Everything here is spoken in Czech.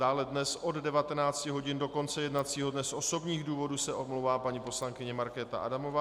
Dále dnes od 19 hodin do konce jednacího dne z osobních důvodů se omlouvá paní poslankyně Markéta Adamová.